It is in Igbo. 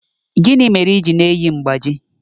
Gịnị mere i ji na-eyi mgbájí?